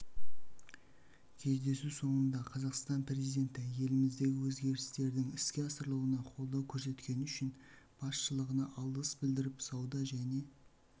кездесу соңында қазақстан президенті еліміздегі өзгерістердің іске асырылуына қолдау көрсеткені үшін басшылығына алғыс білдіріп сауда және